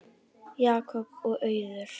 Jakob og Auður.